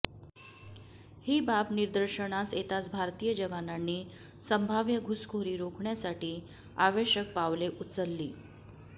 ही बाब निदर्शनास येताच भारतीय जवानांनी संभाव्य घुसखोरी रोखण्यासाठी आवश्यक पावले उचलली